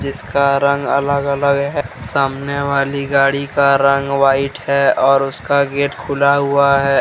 इसका रंग अलग -अलग है सामने वाली गाड़ी का रंग व्हाइट है और उसका गेट खुला हुआ है।